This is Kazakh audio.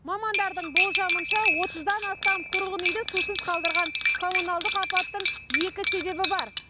мамандардың болжамынша отыздан астам тұрғын үйді сусыз қалдырған коммуналдық апаттың екі себебі бар